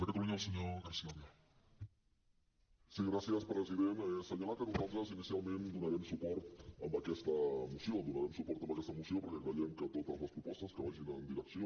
assenyalar que nosaltres inicialment donarem suport a aquesta moció donarem suport a aquesta moció perquè creiem que totes les propostes que vagin en direcció